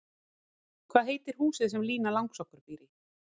Hvað heitir húsið sem Lína Langsokkur býr í?